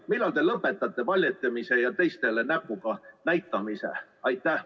Millal te lõpetate valetamise ja teistele näpuga näitamise?